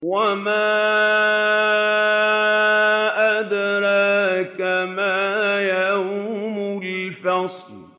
وَمَا أَدْرَاكَ مَا يَوْمُ الْفَصْلِ